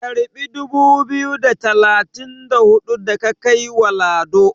karbi dubu biyu da talatin da hudu da ka kai wa Lado"!